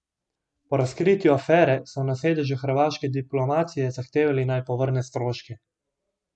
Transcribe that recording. Po razkritju afere so na sedežu hrvaške diplomacije zahtevali, naj povrne stroške.